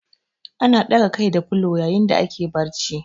Ana ɗaga Kai da filo yayin da ake barci